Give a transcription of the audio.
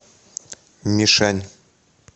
мишань